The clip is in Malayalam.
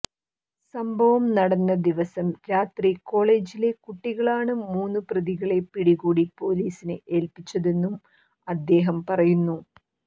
സംഭവം നടന്ന ദിവസം രാത്രി കോളേജിലെ കുട്ടികളാണ് മൂന്നു പ്രതികളെ പിടികൂടി പോലീസില് ഏല്പിച്ചതെന്നും അദ്ദേഹം പറയുന്നു